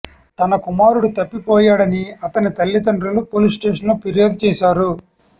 తన కుమారుడు తప్పిపోయాడని అతని తల్లిదండ్రులు పోలీస్ స్టేషన్లో ఫిర్యాదు చేశారు